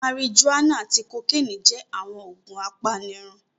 Marijuana ati kokeeni jẹ awọn oogun apanirun